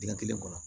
Dingɛ kelen kɔnɔ